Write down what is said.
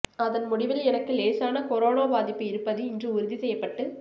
அதன் முடிவில் எனக்கு லேசான கொரோனா பாதிப்பு இருப்பது இன்று உறுதி செய்யப்பட்டு